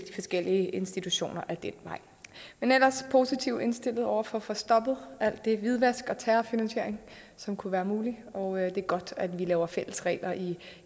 forskellige institutioner ad den vej men ellers er vi positivt indstillet over for at få stoppet alt det hvidvask og terrorfinansiering som kunne være muligt og det er godt at vi laver fælles regler i